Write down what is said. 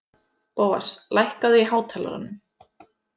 Bóas, lækkaðu í hátalaranum.